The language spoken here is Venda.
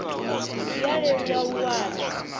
zwi a leluwa u wana